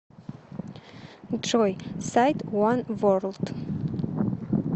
джой сайт уан ворлд